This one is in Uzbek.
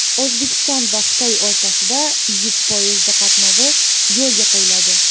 O‘zbekiston va Xitoy o‘rtasida yuk poyezdi qatnovi yo‘lga qo‘yiladi.